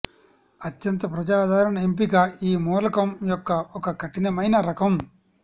అత్యంత ప్రజాదరణ ఎంపిక ఈ మూలకం యొక్క ఒక కఠినమైన రకం